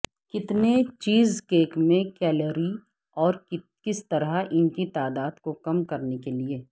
کتنے چیزکیک میں کیلوری اور کس طرح ان کی تعداد کو کم کرنے کے لئے